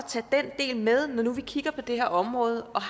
tage den del med når nu vi kigger på det her område og